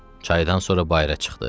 Çaydan sonra bayıra çıxdı.